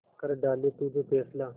कर डाले तू जो फैसला